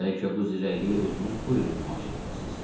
Bəlkə bu zirəkliliyi özünüz buyurub nümayiş etdirəsiz?